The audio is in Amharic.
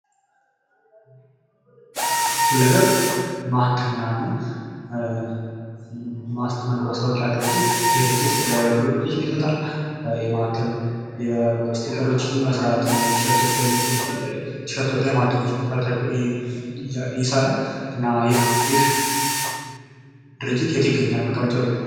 ሁለ ገብ ማተሚያና ማስታወቂያ ድርጅት ይህ ድርጅት ለተለያዩ አገልግሎቶች ይሰጣል። የማተም ስቲከሮችን የመስራት ቲሸርቶች ላይ ማተም ይሰራል። እና ይህ የት ይገኛል መቀመጫዉ የት ነዉ?